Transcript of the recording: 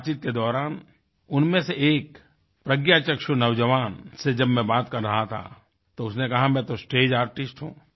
बातचीत के दौरान उनमें से एक प्रज्ञाचक्षु नौजवान से जब मैं बात कर रहा था तो उसने कहा मैं तो स्टेज आर्टिस्ट हूँ